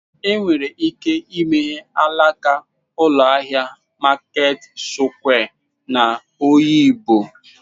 Enwere ike imeghe alaka ụlọ ahịa Maket sụkwịa n'Oyigbo.